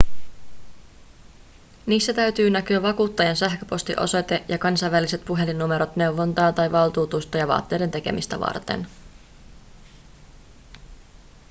niissä täytyy näkyä vakuuttajan sähköpostiosoite ja kansainväliset puhelinnumerot neuvontaa tai valtuutusta ja vaateiden tekemistä varten